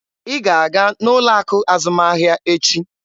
Ị ga-aga n'ụlọ akụ azụmahịa echi!